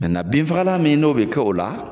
binfala min n'o bi kɛ o la